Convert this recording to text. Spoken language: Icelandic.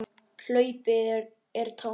Hlaupið er tómt.